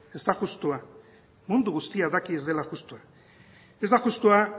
ez da justua mundu guztiak daki ez dela justua ez da justua